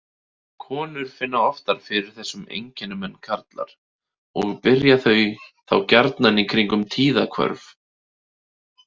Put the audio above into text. Konur finna oftar fyrir þessum einkennum en karlar og byrja þau þá gjarnan kringum tíðahvörf.